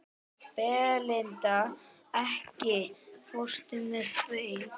Belinda, ekki fórstu með þeim?